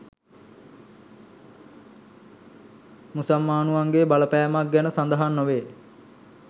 මුසල්මානුවන්ගේ බලපෑමක් ගැන සඳහන් නොවේ